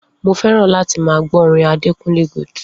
Mo fé̩ràn láti máa gbó̩ orin Adekúnlé Gold